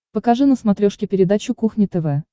покажи на смотрешке передачу кухня тв